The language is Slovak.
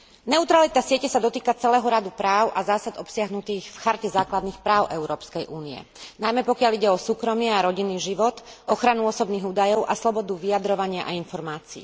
Neutralita siete sa dotýka celého radu práv a zásad obsiahnutých v Charte základných práv Európskej únie, najmä pokiaľ ide o súkromie a rodinný život, ochranu osobných údajov a slobodu vyjadrovania a informácií.